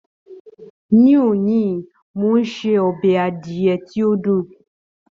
Ní òní, ń ó se ọbẹ̀ adìyẹ tí ó dùn.